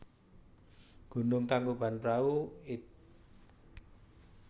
Gunung Tangkubanprahu id